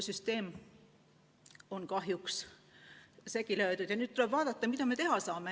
Süsteem on kahjuks segi löödud ja nüüd tuleb vaadata, mida me teha saame.